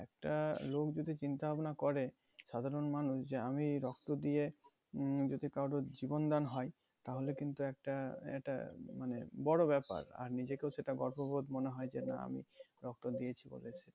একটা লোক যদি চিন্তা ভাবনা করে সাধারণ মানুষ যে আমি এই রক্ত দিয়ে উম যদি কারোর জীবন দান হয় তাহলে কিন্তু একটা এটা মানে বড় ব্যাপার আর নিজেকেও সেটা গর্ববোধ মনে হয় যে না আমি রক্ত দিয়েছি